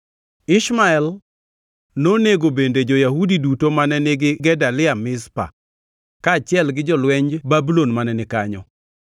Ishmael nonego bende jo-Yahudi duto mane nigi Gedalia Mizpa, kaachiel gi jolwenj Babulon mane ni kanyo.